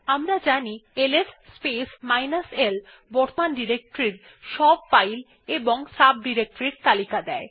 আমরা জানি LS space minus l বর্তমান ডিরেক্টরি র সব ফাইল এবং সাব ডিরেক্টরির তালিকা দেয়